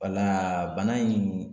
Wala bana in